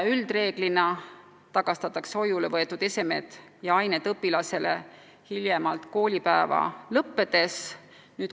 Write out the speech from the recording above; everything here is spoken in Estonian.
Üldreeglina tagastatakse hoiule võetud esemed ja ained õpilasele hiljemalt koolipäeva lõppedes.